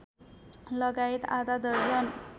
लगायत आधा दर्जन